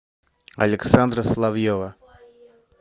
александра соловьева